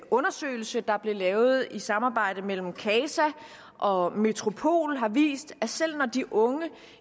undersøgelse der blev lavet i et samarbejde mellem casa og metropol viste at selv når de unge